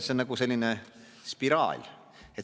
See on nagu selline spiraal.